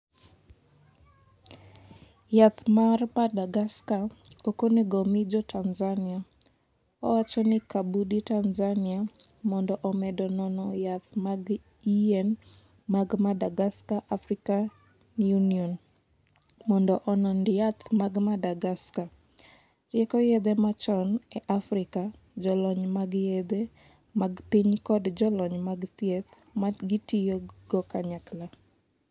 Yath mar Madagascar ok onego omi jo Tanzania, owacho ni Kabudi Tanzania mondo omedo nono yath mag yien mag Madagascar African Union mondo onond yath mag Madagascar Rieko yedhe machon e Afrika, jolony mag yedhe mag piny kod jolony mag thieth ma gitiyo kanyakla.